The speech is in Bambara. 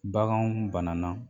Baganw banana